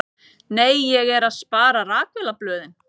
Nei, ég er að spara. rakvélarblöðin.